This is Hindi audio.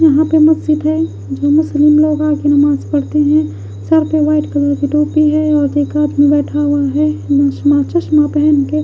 यहाँ पे मस्जिद है जो मुस्लिम लोग आ के नमाज पढ़ते हैं सर पे वाइट कलर की टोपी है और एक हाथ में बैठा हुआ है च चश्मा पहन के--